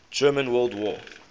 german world war